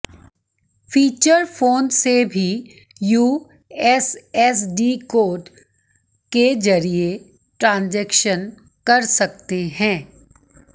feature phone से भी USSD code के जरिए ट्रांजेक्शन कर सकते हैं